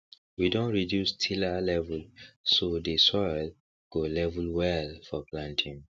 we don reduce tiller level so dey soil go level well for planting